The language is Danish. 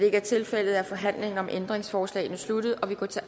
ikke tilfældet er forhandlingen om ændringsforslagene sluttet og vi går til